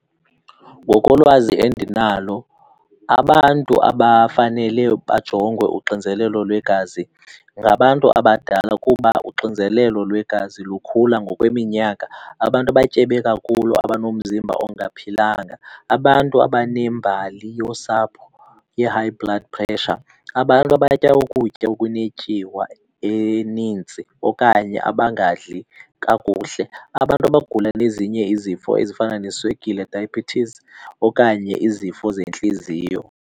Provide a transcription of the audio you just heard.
Ngokolwazi endinalo, abantu abafanele bajongwe uxinzelelo lwegazi ngabantu abadala kuba uxinzelelo lwegazi lukhula ngokweminyaka. Abantu abatyebe kakhulu, abanomzimba ongaphilanga, abantu abanembali yosapho ye-high blood pressure, abantu abatya ukutya okunetyiwa eninzi okanye abangadli kakuhle, abantu abagula nezinye izifo ezifana neeswekile, diabetes, okanye izifo zentliziyo.